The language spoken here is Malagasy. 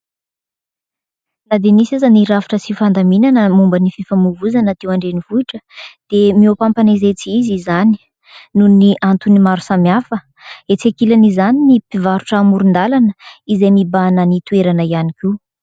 Na dia nisy aza ny rafitra sy fandaminana momba ny fifamovoizana teo Andrenivohitra dia mihoa-papana izay tsy izy izany noho ny antony maro samihafa. Etsy ankilan' izany ny mpivarotra hamoron-dalana izay mibahana ny toerana ihany koa.